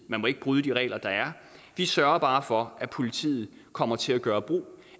må ikke bryde de regler der er vi sørger bare for at politiet kommer til at gøre brug